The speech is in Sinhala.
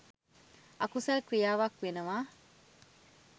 අකුසල් ක්‍රියාවක් වෙනවා.